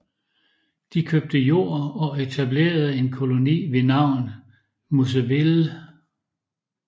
De købte jord og etablerede en koloni ved navn Moiseville